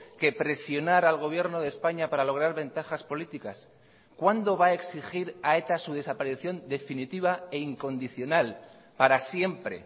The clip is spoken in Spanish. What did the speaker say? que presionar al gobierno de españa para lograr ventajas políticas cuándo va a exigir a eta su desaparición definitiva e incondicional para siempre